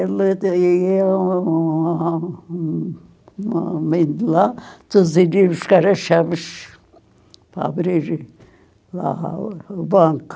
um homem de lá para abrir lá o o banco.